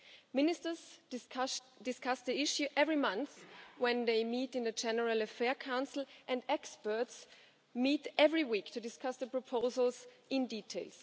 Ministers discuss the issue every month when they meet in the General Affairs Council and experts meet every week to discuss the proposals in detail.